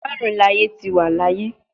Marun laaye ti wa laaye